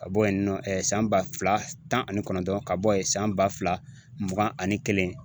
Ka bɔ yen nɔ san ba fila tan ani kɔnɔntɔn ka bɔ yen san ba fila mugan ani kelen